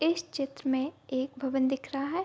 इस चित्र में एक भवन दिख रहा है।